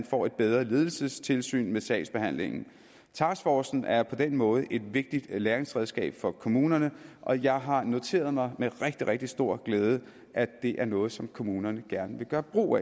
får et bedre ledelsestilsyn med sagsbehandlingen taskforcen er på den måde et vigtigt læringsredskab for kommunerne og jeg har noteret mig med rigtig rigtig stor glæde at det er noget som kommunerne gerne vil gøre brug